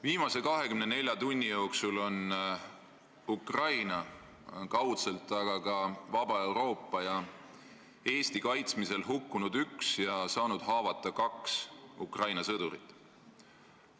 Viimase 24 tunni jooksul on kaudselt Ukraina, aga ka vaba Euroopa ja Eesti kaitsmisel hukkunud üks ja saanud haavata kaks Ukraina sõdurit.